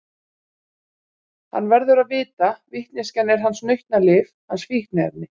Hann verður að vita, vitneskjan er hans nautnalyf, hans fíkniefni.